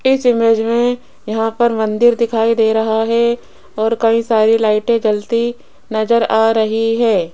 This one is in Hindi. इस इमेज में यहां पर मंदिर दिखाई दे रहा है और कई सारी लाइटे जलती नजर आ रही है।